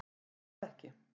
Er það ekki